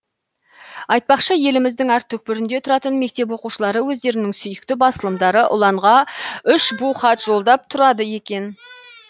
айтпақшы еліміздің әр түкпірінде тұратын мектеп оқушылары өздерінің сүйікті басылымдары ұланға үш бу хат жолдап тұрады екен